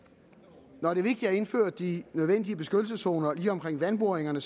når det er vigtigt at indføre de nødvendige beskyttelseszoner lige omkring vandboringerne